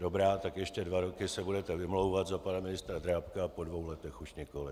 Dobrá, tak ještě dva roky se budete vymlouvat na pana ministra Drábka a po dvou letech už nikoli.